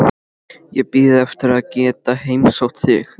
Ég bíð eftir að geta heimsótt þig.